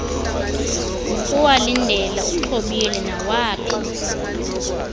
nokuwalindela uxhobile nawaphi